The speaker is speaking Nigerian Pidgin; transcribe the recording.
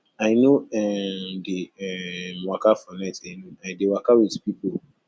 i no um dey um waka for night alone i i dey waka wit pipo